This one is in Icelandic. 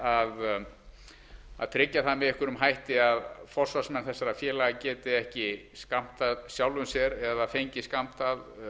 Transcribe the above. að tryggja það með einhverjum hætti að forsvarsmenn þessara félaga geti ekki skammtað sjálfum sér eða fengið skammtað